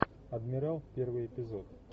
адмирал первый эпизод